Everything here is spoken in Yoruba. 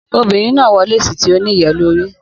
Obinrin naa wọ lesi ti o niyelori